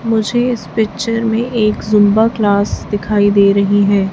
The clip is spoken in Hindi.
मुझे इस पिक्चर में एक जुंबा क्लास दिखाई दे रही है।